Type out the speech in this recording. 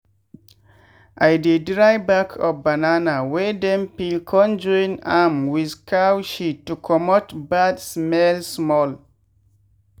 i dey dry back of banana wey dem peel con join am with cow shit to comot bad smell small.